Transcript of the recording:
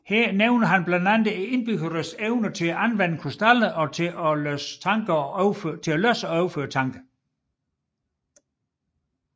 Her nævner han blandt andet indbyggernes evne til at anvende krystaller til at læse og overføre tanker